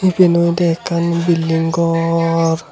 yen olode ekkan building ghor.